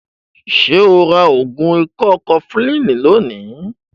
Ṣo ra ògùn ikọ́ kọfulínì lónìí?